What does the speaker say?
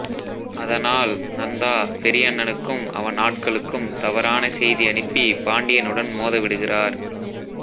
அதனால் நந்தா பெரியண்ணணுக்கும் அவன் ஆட்களுக்கும் தவறான செய்தி அனுப்பி பாண்டியனுடன் மோத விடுகிறார்